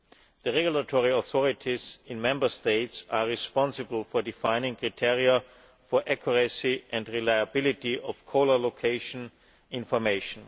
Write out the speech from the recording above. The regulatory authorities in Member States are responsible for defining criteria for accuracy and reliability of caller location information.